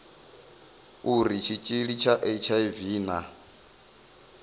uri tshitshili tsha hiv na